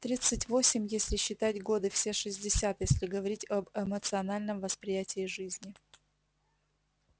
тридцать восемь если считать годы все шестьдесят если говорить об эмоциональном восприятии жизни